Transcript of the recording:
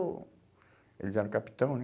oh, eles eram capitão, né?